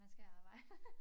Man skal arbejde